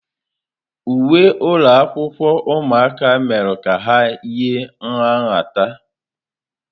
Uwe ụlọ akwụkwọ ụmụaka mere ka ha yie nha nhata.